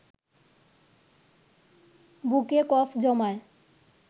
বুকে কফ জমায়